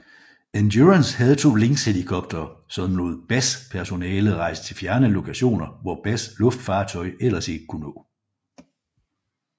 Endurance havde to Lynxhelikoptere som lod BAS personale rejse til fjerne lokationer hvor BAS luftfartøj ellers ikke kunne nå